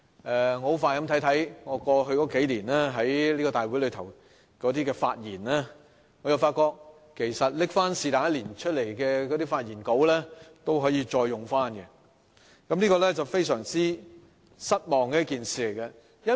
我很快地重看了過去數年我在大會上關於施政報告和財政預算案的發言，我發覺隨意拿出任何一年的發言稿都可以重用，這是令人非常失望的事。